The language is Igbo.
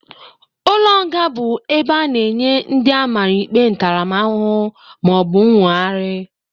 Ụlọ nga bụkwa ebe a na-enye ndị amara ikpe ntaramahụhụ, ma ọ bụ nwogari.